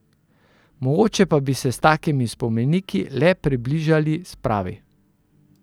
Mogoče bi se pa s takimi spomeniki le približali spravi.